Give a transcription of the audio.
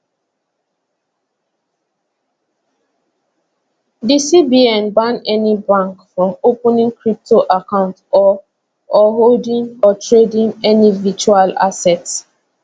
di cbn ban any bank from opening crypto accounts or or holding or trading any virtual asset